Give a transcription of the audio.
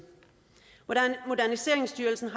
moderniseringsstyrelsen